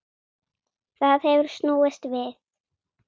Það hefur snúist við.